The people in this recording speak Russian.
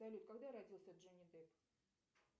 салют когда родился джонни депп